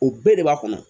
U bɛɛ de b'a kɔnɔ